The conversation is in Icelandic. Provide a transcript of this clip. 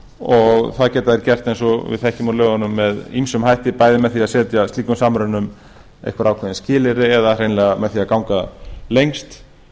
og það getum við gert eins og við þekkjum úr lögunum með ýmsum hætti bæði með því að setja slíkum samrunum einhver ákveðin skilyrði eða með því að ganga lengst